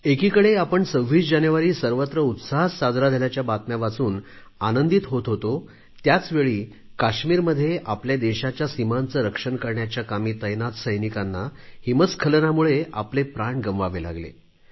एकीकडे आपण 26 जानेवारी सर्वत्र उत्साहात साजरा झाल्याच्या बातम्या वाचून आनंदीत होत होतो त्याचवेळी काश्मीरमध्ये आपल्या देशाच्या सीमांचे रक्षण करण्याच्या कामी तैनात सैनिकांना हिमस्खलनामुळे आपले प्राण गमवावे लागले